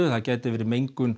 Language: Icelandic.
það gæti verið mengun